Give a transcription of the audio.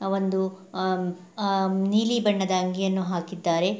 ಆಹ್ಹ್ ಒಂದು ಆಹ್ಹ್ ಆಹ್ಹ್ ನೀಲಿ ಬಣ್ಣದ ಅಂಗಿಯನ್ನು ಹಾಕಿದ್ದಾರೆ.